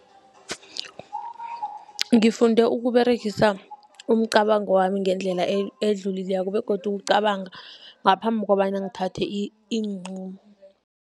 Ngifunde ukuberegisa umcabango wami ngendlela edlulileko, begodu ukucabanga ngaphambi kobana ngithathe iinqumo.